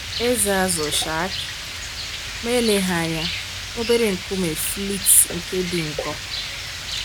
Ezé azụ shark? Ma eleghị anya, obere nkume flint nke dị nkọ?